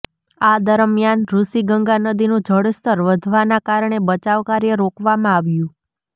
આ દરમિયાન ઋષિગંગા નદીનું જળસ્તર વધવાના કારણે બચાવકાર્ય રોકવામાં આવ્યું